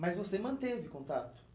Mas você manteve contato